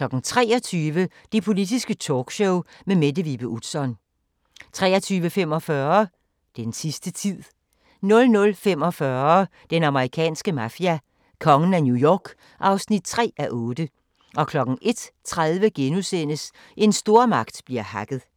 23:00: Det Politiske Talkshow med Mette Vibe Utzon 23:45: Den sidste tid 00:45: Den amerikanske mafia: Kongen af New York (3:8) 01:30: En stormagt bliver hacket *